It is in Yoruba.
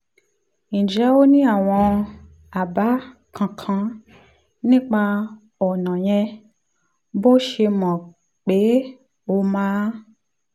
ǹjẹ́ o ní àwọn àbá kankan nípa ọ̀nà yẹn bó o ṣe mọ̀ pé ó máa